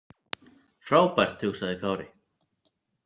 Frábært, hugsaði Kári.